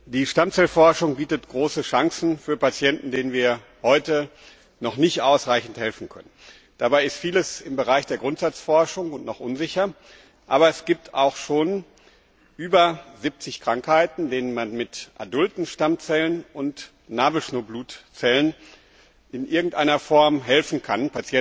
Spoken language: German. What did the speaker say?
Die Stammzellenforschung bietet große Chancen für Patienten, denen wir heute noch nicht ausreichend helfen können. Dabei ist vieles noch im Stadium der Grundsatzforschung und noch unsicher, aber es gibt auch schon über 70 Krankheiten, bei denen man den betroffenen Patienten mit adulten Stammzellen und Nabelschnurblutzellen in irgendeiner Form helfen kann.